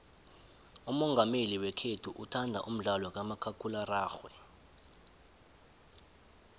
umongameli wekhethu uthanda umdlalo kamakhakhulararhwe